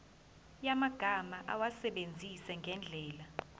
yamagama awasebenzise ngendlela